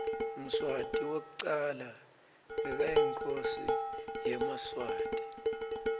mswati wekucala bekayinkhosi yemaswati